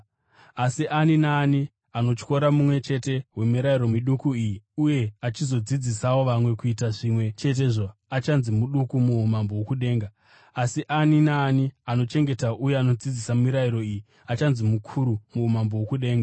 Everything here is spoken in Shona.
Asi ani naani anotyora mumwe chete wemirayiro miduku iyi uye achizodzidzisawo vamwe kuita zvimwe chetezvo achanzi muduku muumambo hwokudenga. Asi ani naani anochengeta uye anodzidzisa mirayiro iyi, achanzi mukuru muumambo hwokudenga.